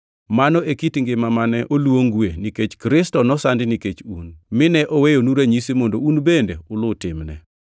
Mano e kit ngima mane oluongue nikech Kristo nosandi nikech un, mine oweyonu ranyisi mondo un bende uluw timne.